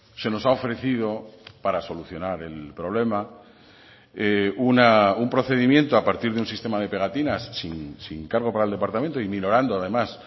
se nos ha ofrecido para solucionar el problema un procedimiento a partir de un sistema de pegatinas sin cargo para el departamento y minorando además